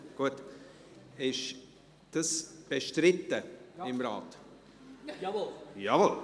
Gut! Ist dies bestritten im Rat? –– Jawohl.